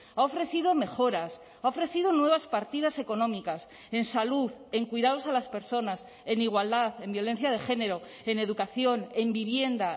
ha ofrecido mejoras ha ofrecido nuevas partidas económicas en salud en cuidados a las personas en igualdad en violencia de género en educación en vivienda